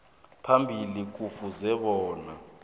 phambili kufuze bona